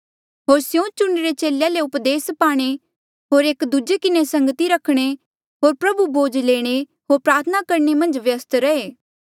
होर स्यों चुणिरे चेलेया ले उपदेस पाणे होर एक दूजे किन्हें संगती करणे होर प्रभु भोज लेणे होर प्रार्थना करणे मन्झ व्यस्त रहे